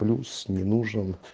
плюс не нужен